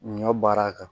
Ɲɔ baara kan